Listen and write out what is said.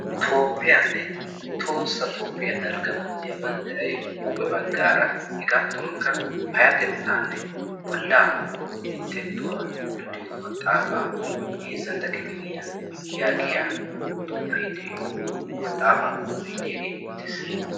Toophphiyanne Tohossa Toophphiya Dalgga manttiya banddiray huuphe baggaara hegaatuwankka payyatettaanne bolla minttettuwa luxiyo maxaafaa heezzantta kifiliya yaagiya xuufee de'iyo maxaafaa koohoy diyaagee beettees.